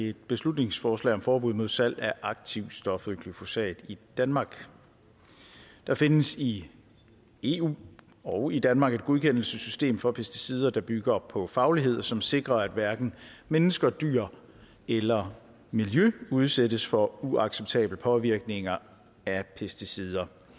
et beslutningsforslag om forbud mod salg af aktivstoffet glyfosat i danmark der findes i eu og i danmark et godkendelsessystem for pesticider der bygger på faglighed og som sikrer at hverken mennesker dyr eller miljø udsættes for uacceptabel påvirkning af pesticider